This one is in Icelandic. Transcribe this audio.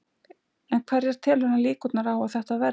En hverjar telur hann líkurnar á að þetta verði?